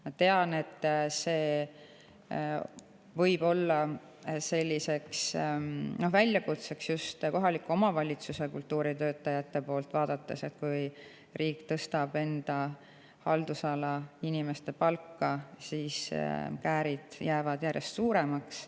Ma tean, et see võib olla väljakutseks just kohaliku omavalitsuse kultuuritöötajate poolt vaadates, sest kui riik tõstab enda haldusala inimeste palka, siis käärid järjest suuremaks.